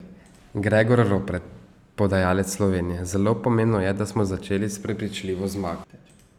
Gregor Ropret, podajalec Slovenije: "Zelo pomembno je, da smo začeli s prepričljivo zmago.